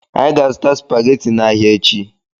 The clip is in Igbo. Anyị ga- azụta supaghetti n'ahia echi.